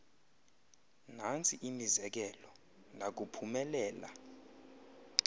nantsi imizekelo ndakuphumelela